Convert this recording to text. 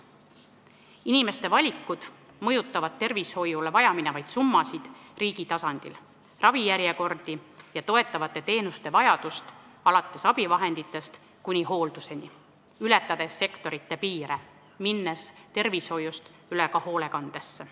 Inimeste valikud mõjutavad tervishoius vajaminevaid summasid riigi tasandil, ravijärjekordi ja vajadust toetavate teenuste järele alates abivahenditest kuni hoolduseni, ületades sektorite piire, minnes tervishoiust üle ka hoolekandesse.